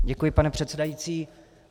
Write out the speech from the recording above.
Děkuji, pane předsedající.